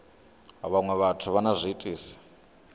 vhaṅwe vhathu vha na zwiitisi